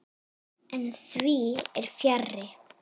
En því fer fjarri.